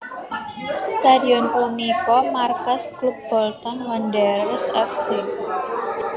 Stadion punika markas klub Bolton Wanderers F C